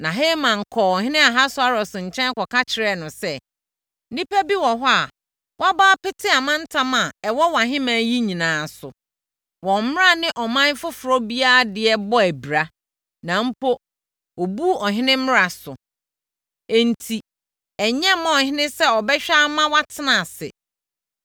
Na Haman kɔɔ ɔhene Ahasweros nkyɛn kɔka kyerɛɛ no sɛ, “Nnipa bi wɔ hɔ a wɔabɔ apete amantam a ɛwɔ wʼahemman yi nyinaa so. Wɔn mmara ne ɔman foforɔ biara deɛ bɔ abira, na mpo, wɔbu ɔhene mmara so. Ɛno enti, ɛnyɛ mma ɔhene sɛ ɔbɛhwɛ ama wɔatena ase.